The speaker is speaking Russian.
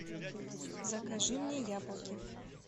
закажи мне яблоки